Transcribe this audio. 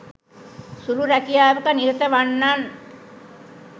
සුළු රැකියාවක නිරත වන්නන්